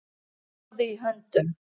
Doði í höndum